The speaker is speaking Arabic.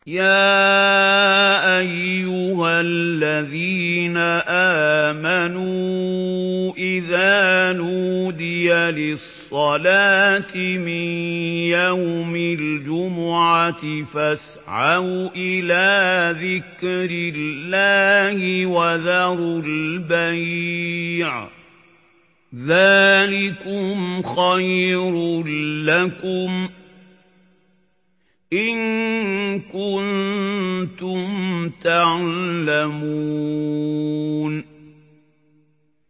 يَا أَيُّهَا الَّذِينَ آمَنُوا إِذَا نُودِيَ لِلصَّلَاةِ مِن يَوْمِ الْجُمُعَةِ فَاسْعَوْا إِلَىٰ ذِكْرِ اللَّهِ وَذَرُوا الْبَيْعَ ۚ ذَٰلِكُمْ خَيْرٌ لَّكُمْ إِن كُنتُمْ تَعْلَمُونَ